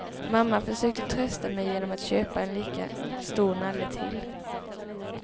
Mamma försökte trösta mig genom att köpa en lika stor nalle till.